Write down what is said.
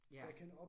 Ja